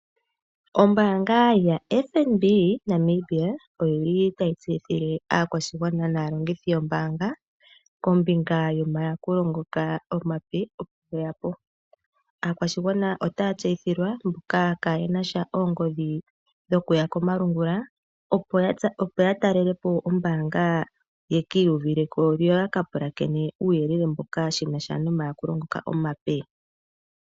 Ombaanga yoFNB Namibia otayi tseyithile aakwashigwana naalongithi yombaanga, kombinga yomayakulo ngoka omape ge ya po. Aakwashigwana otaya tseyithilwa mboka kaaye na oongodhi dhokuya komalungula, opo ya talele po ombaanga yeki iyuvuli ko noya ka pulakene shi na sha nomayakulo ngoka omape.